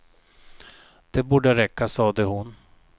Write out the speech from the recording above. Det borde räcka, sade hon.